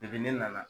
ne nana